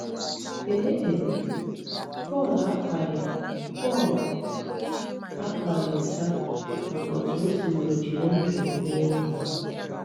Ee e, Pọl akwaghị Pọl akwaghị ụta maka otú o siworo jiri ndụ ya mee ihe!